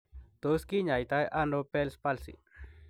Tos kinyaita ano Bell's Palsy ?